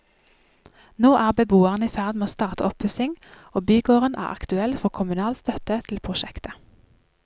Nå er beboerne i ferd med å starte oppussing, og bygården er aktuell for kommunal støtte til prosjektet.